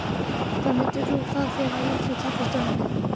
Hvað myndir þú fá þér á Litlu kaffistofunni?